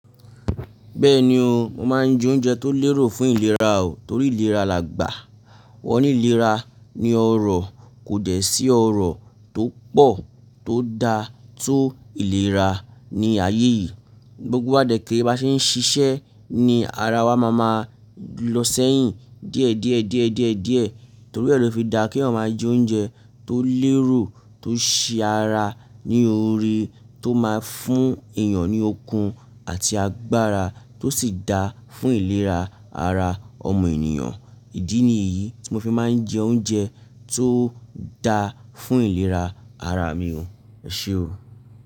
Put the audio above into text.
Bẹ́ẹ̀ni o, mo máa ń jẹ oúnjẹ tó lérò fún ìlera o, torí ìlera làgbà. Wọ́n ní ìlera ni ọrọ̀ kò dẹ̀ sí ọrọ̀ tó pọ̀ tó da tó ìlera ní ayé yìí. Gbogbo de ke bá ṣe ń ṣiṣẹ́ ni ara wa má máa lọ sẹ́yìn díẹ̀ díẹ̀ díẹ̀ díẹ̀ díẹ̀ torí re lo fi da kí eeyan máa jẹ oúnjẹ tó lérò, tó ṣé ara ní ore, tó máa fún èèyàn ní okun àti agbára, tó sì da fún ìlera ara ọmọ ènìyàn. Ìdí nìyí tí mo fi máa ń jẹ oúnjẹ tó da fún ìlera ara mi o. Ẹ ṣé o.